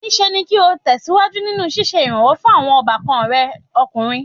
Níṣe ni kí o tẹ̀síwájú nínú ṣíṣe ìrànwọ́ fún àwọn ọbàkna rẹ ọkùnrin.